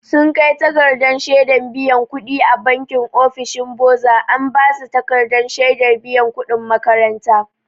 Sun kai takardar shedan biyan kuɗi a banki ofishin boza an ba su takardar shaidar biyan kuɗin makaranta.